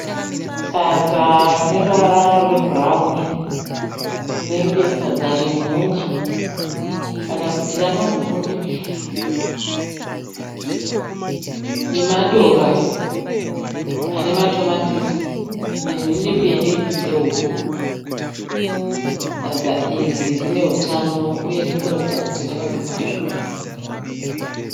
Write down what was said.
Sadza rineruvara rwebhurawuni, rinenge sadza remhunga. Kana kuti remapfunde. Nemadora anematomatisi nenhinsi mbiri dzehuku. Sadza iri rinehutano, uye ririkuratidza kuti rakabikwa zvakanaka.